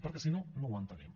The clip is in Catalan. perquè si no no ho entenem